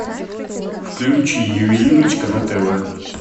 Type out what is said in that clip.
включи ювелирочка на тв